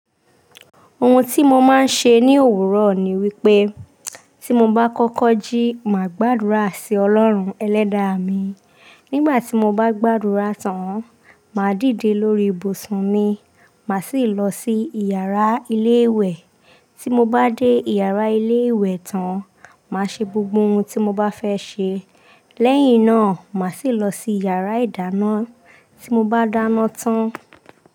Ohun tí mo máa ń ṣe ní òwúrọ̀ ni wípé, tí mo bá kọ́kọ́ jí, màá gbàdúrà sí Ọlọ́run Ẹlẹ́dàá mi. Nígbà tí mo bá gbàdúrà tán, màá dìde lórí ibùsùn mi, màá sì lọ sí ìyàrá ilé ìwẹ̀. Tí mo bá dé ìyàrá ilé ìwẹ̀ tán, màá ṣe gbogbo ohun tí mo bá fẹ́ ṣe. Lẹ́yìn náà, màá sì lọ sí ìyàrá ìdáná tí mo bá dáná tán.